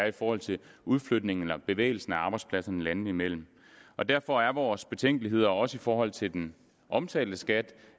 i forhold til udflytning eller bevægelse af arbejdspladser landene imellem derfor er vores betænkeligheder også i forhold til den omtalte skat